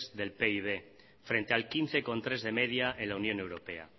del pib frente al quince coma tres de media en la unión europea